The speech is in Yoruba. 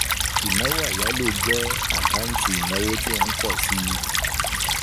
Ìnáwó àyálò jẹ àkáǹtì ìnáwó tí ó ń pọ̀ síi